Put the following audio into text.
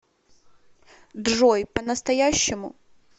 джой по настоящему